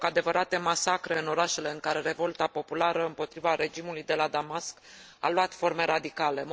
au loc adevărate masacre în orașele în care revolta populară împotriva regimului de la Damasc a luat forme radicale.